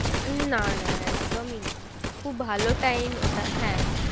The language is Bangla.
না না একদমই না খুব ভালো time ওটা হ্যাঁ